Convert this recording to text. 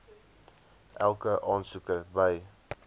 elke aansoeker by